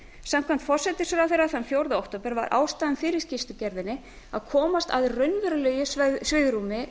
samkvæmt forsætisráðherra þann fjórða október var ástæðan fyrir skýrslugerðinni sú að komast að raunverulegu svigrúmi